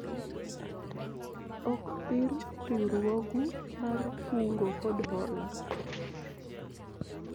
ok thir riwruogu mar kungo kod hola